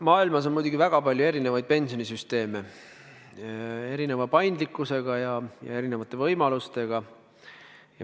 Maailmas on väga palju erinevaid pensionisüsteeme, erineva paindlikkusega ja erinevate võimalustega.